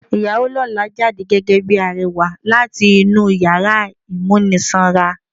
Ìyàwó lọ́la jáde gẹ́gẹ́ bíi arẹwà láti inú yàrá ìmúnisanra.